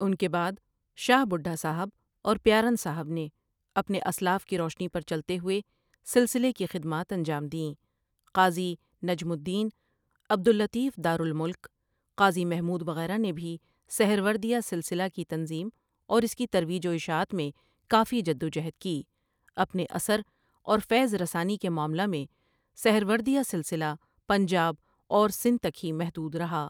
اُن کے بعد شاہ بُڈھا صاحب اور پیارن صاحب نے اپنے اَسلاف کی روشنی پر چلتے ہوئے سلسلے کی خدمات انجام دیں قاضی نجم الدین ،عبد الطیف دارُ الملک، قاضی محمود وغیرہ نے بھی سہروردیہ سلسلہ کی تنظیم اور اس کی ترویج و اِشاعت میں کافی جدوجہد کی اپنے اثر اور فیض رسانی کے معاملہ میں سہروردیہ سلسلہ پنجاب اور سندھ تک ہی محدود رہا ۔